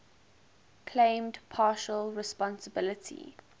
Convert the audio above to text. claimed partial responsibility